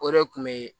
O de kun be